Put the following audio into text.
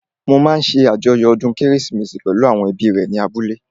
Mo máa ṣé àjọyọ̀ ọdún kérésìmesì pẹ̀lú àwọn ẹbí rẹ̀ ní abúlé